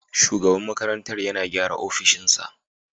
Shugaban makarantar yana gyara opishin sa